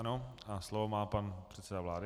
Ano a slovo má pan předseda vlády.